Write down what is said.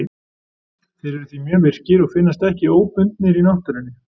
þeir eru því mjög virkir og finnast ekki óbundnir í náttúrunni